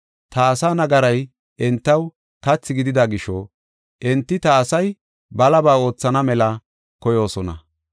Ta asaa nagaray entaw kathi gidida gisho enti ta asay balaba oothana mela koyoosona.